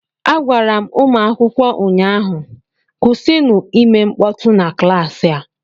Agwara m ụmụ akwụkwọ ụnyahụ, kwụsịnụ ịme mkpọtụ na klaasị a!